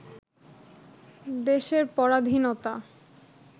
দেশের পরাধীনতা